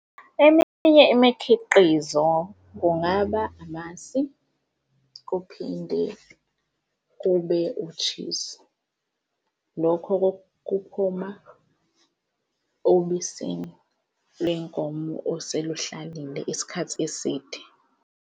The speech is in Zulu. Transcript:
Eminye imikhiqizo kungaba amasi kuphinde kube u-cheese. Lokho kuphuma obisini lenkomo oseluhlalile isikhathi eside.